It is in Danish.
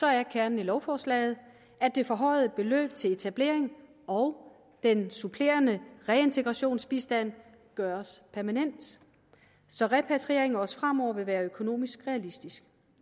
er kernen i lovforslaget at det forhøjede beløb til etablering og den supplerende reintegrationsbistand gøres permanent så repatriering også fremover vil være økonomisk realistisk